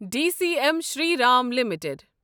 D C M Shri Ram limited